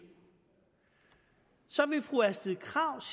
så vil fru astrid krag